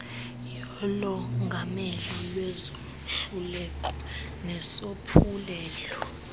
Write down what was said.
yolongamelo lwezoluleko nesophulelo